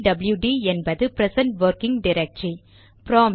B W D என்பது present working directory